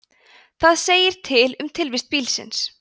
það segir til um tilvist bílsins